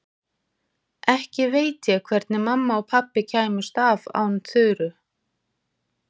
Ekki veit ég hvernig mamma og pabbi kæmust af án Þuru.